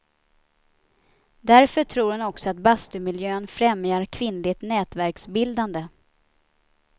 Därför tror hon också att bastumiljön främjar kvinnligt nätverksbildande.